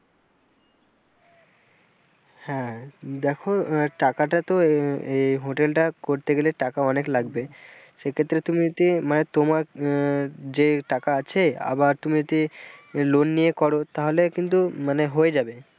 হ্যাঁ দেখো টাকাটা তো আহ এ hotel টা করতে গেলে টাকা অনেক লাগবে সেক্ষেত্রে তুমি যে মানে তোমার আহ যে টাকা আছে আবার তুমি যদি loan নিয়ে কর তাহলে কিন্তু মানে হয়ে যাবে।